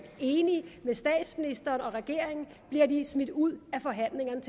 enige med statsministeren og regeringen bliver de smidt ud af forhandlingerne